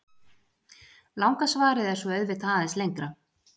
Langa svarið er svo auðvitað aðeins lengra.